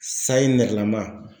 Sayi nɛrɛlama.